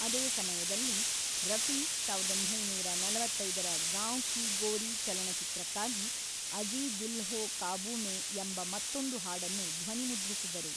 ಅದೇ ಸಮಯದಲ್ಲಿ, ರಫಿ ಸಾವಿರದ ಒಂಬೈನೂರ ನಲವತ್ತೈದರ ಗಾಂವ್‌ ಕೀ ಗೋರೀ ಚಲನಚಿತ್ರಕ್ಕಾಗಿ ಅಜೀ ದಿಲ್ ಹೋ ಕಾಬೂ ಮೇ ಎಂಬ ಮತ್ತೊಂದು ಹಾಡನ್ನು ಧ್ವನಿಮುದ್ರಿಸಿದರು.